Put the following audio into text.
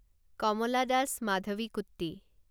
কমলা Das মাধৱীকুট্টি